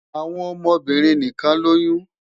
Awọn ọmọbirin nikan loyun